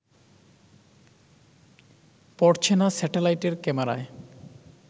পড়ছে না স্যাটেলাইটের ক্যামেরায়